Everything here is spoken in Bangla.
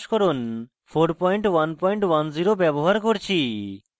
gnu bash সংস্করণ 4110 ব্যবহার করছি